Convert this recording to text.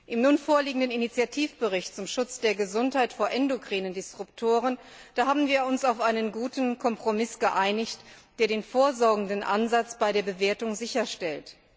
Im nun vorliegenden Initiativbericht zum Schutz der Gesundheit vor endokrinen Disruptoren haben wir uns auf einen guten Kompromiss geeinigt, der den vorsorgenden Ansatz bei der Bewertung sicherstellt.